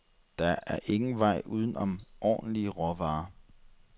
Der er ingen vej uden om ordentlige råvarer.